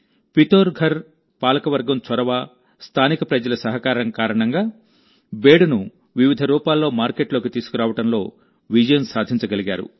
పితోర్ఘర్ పాలకవర్గం చొరవ స్థానిక ప్రజల సహకారం కారణంగా బేడును వివిధ రూపాల్లో మార్కెట్లోకి తీసుకురావడంలో విజయం సాధించగలిగారు